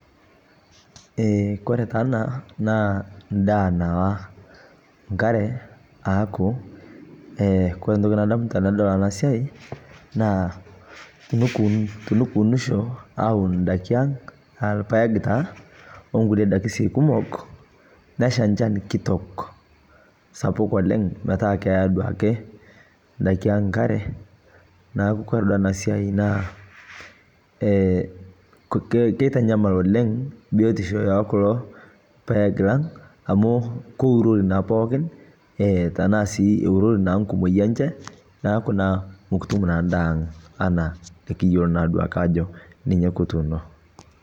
kore taa ana naa ndaa nawaa nkare aaku kore ntoki nadamuta tanadol ana siai naa tunukuunisho awun ndakii aang aah lpaeg taa onkulie daki kumok nesha nchan kitok sapuk oleng metaa keyaa duake ndaki aang nkare naaku kore duo ana siai naa keitanyamal oleng biotishoo ekuloo paeg lang amu kourorii naa pookin etanaa sii eurorii nkumoi enshe naaku naa mukutum naa ndaa aang ana nikiyolo naaduake ajo ninye kutuuno